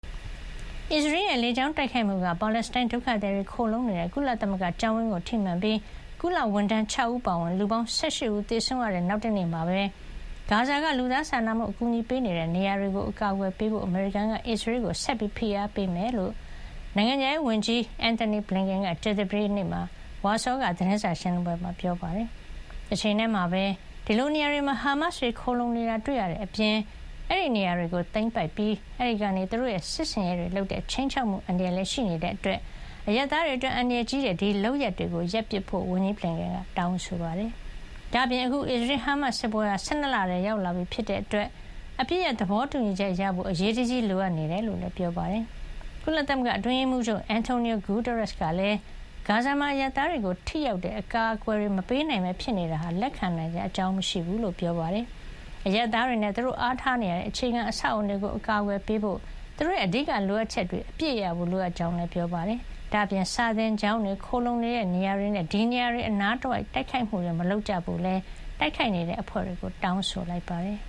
အစ္စရေးရဲ့ လေကြောင်းတိုက်ခိုက်မှုက ပါလက်စတိုင်းဒုက္ခသည်တွေခိုလှုံနေတဲ့ ကုလသမဂ္ဂကျောင်းဝင်းကိုထိမှန်ပြီး ကုလဝန်ထမ်း ၆ ဦး အပါအဝင် လူပေါင်း ၁၈ ဦး သေဆုံးခဲ့ရတဲ့ နောက်တနေ့မှာပဲ ဂါဇာက လူသားစာနာမှုအကူညီပေးနေတဲ့နေရာတွေကို အကာကွယ်ပေးဖို့ အမေရိကန်က အစ္စရေးကို ဆက်လက်ဖိအားပေးမှာဖြစ်ကြောင်း နိုင်ငံခြားရေးဝန်ကြီးAntony Blinken က ကြာသပတေးနေ့ ဝါဆောက သတင်းစာရှင်းလင်းပွဲမှာ ပြောပါတယ်။ တချိန်တည်းမှာပဲ ဒီလိုနေရာတွေမှာ ဟာမတ်စ်တွေခိုလှုံနေတာတွေ့ရတဲ့အပြင် အဲဒီနေရာတွေကိုသိမ်းပိုက်ပြီး အဲဒီကနေသူတို့ရဲ့ စစ်ဆင်ရေးတွေလုပ်တဲ့ ခြိမ်းခြောက်မှုအန္တရာယ်လည်း ရှိနေတာကြောင့် အရပ်သားတွေအတွက် အန္တရာယ်ကြီးတဲ့ဒီလုပ်ရပ်တွေကို ရပ်ပစ်ဖို့လည်း ဝန်ကြီး Blinken က တောင်းဆိုပါတယ်။ ဒါ့အပြင် အခု အစ္စရေး-ဟာမတ်စ် စစ်ပွဲဟာ၁၂ လထဲရောက်လာပြီဖြစ်တဲ့အတွက် အပစ်ရပ် သဘောတူညီချက်ရဖို့ အရေးတကြီးလိုအပ်နေကြောင်းလည်း ပြောပါတယ်။ ကုလသမဂ္ဂအတွင်းရေးမှူးချုပ် Antonio Guterres ကလည်း ဂါဇာမှာ အရပ်သားတွေကို ထိရောက်တဲ့အကာကွယ်တွေ မပေးနိုင်ဘဲဖြစ်နေတာဟာ လက်ခံနိုင်စရာမရှိကြောင်းနဲ့ အရပ်သားတွေနဲ့ သူတို့အားထားနေရတဲ့ အခြေခံအဆောက်အအုံတွေကို အကာကွယ်ပေးဖို့၊ သူတို့ရဲ့ အဓိကလိုအပ်ချက်တွေ အပြည့်ရဖို့လိုအပ်ကြောင်းလည်း ပြောပါတယ်။ ဒါ့အပြင် စာသင်ကျောင်းတွေ၊ ခိုလှုံနေတဲ့နေရာတွေနဲ့ ဒီနေရာတွေအနားတဝိုက်ကို မတိုက်ခိုက်ကြဖို့လည်းတိုက်ခိုက်နေတဲ့ အဖွဲ့တွေကို တောင်းဆိုလိုက်ပါတယ်။